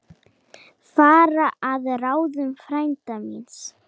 Fara að ráðum frænda míns.